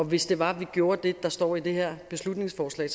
hvis det var vi gjorde det der står i det her beslutningsforslag